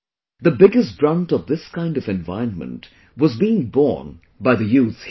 The biggest brunt of this kind of environment was being borne by the youth here